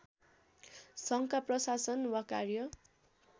सङ्घका प्रशासन वा कार्य